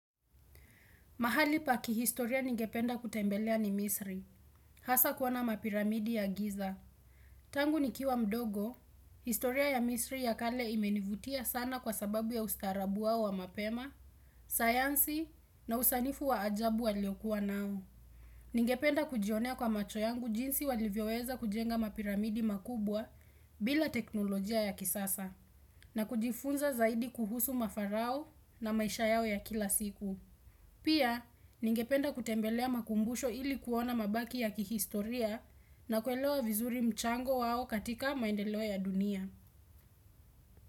Mahali paki historia ningependa kutembelea ni misri, hasa kuona mapiramidi ya giza. Tangu ni kiwa mdogo, historia ya misri ya kale imenivutia sana kwa sababu ya ustaarabu wao wa mapema, sayansi na usanifu wa ajabu wa liokua nao. Ningependa kujionea kwa macho yangu jinsi walivyoweza kujenga mapiramidi makubwa bila teknolojia ya kisasa na kujifunza zaidi kuhusu mafarao na maisha yao ya kila siku. Pia, ningependa kutembelea makumbusho ili kuona mabaki ya kihistoria na kuelewa vizuri mchango wao katika maendeleo ya dunia.